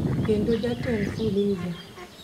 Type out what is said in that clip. kendo Jatend Fuliza,